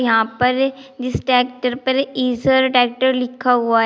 यहां पर जिस ट्रैक्टर पर इसर लिखा हुआ है।